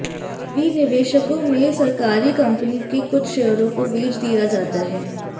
विनिवेशकों में सरकारी कंपनी के कुछ शेयरों को बेच दिया जाता है